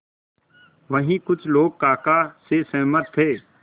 वहीं कुछ लोग काका से सहमत थे